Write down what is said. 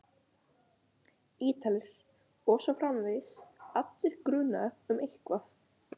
Ítalir. og svo framvegis, allir grunaðir um eitthvað.